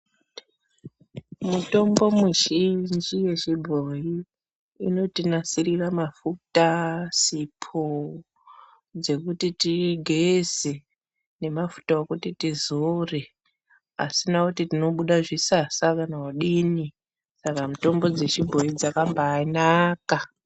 Mutombo muzhinji yechibhoyi inotinasirira mafuta, sipo dzekuti tigeze nemafuta okuti tizore, asina kuti tinobuda zvisasa kana kudini, saka mitombo dzechibhoyi dzakambanaka.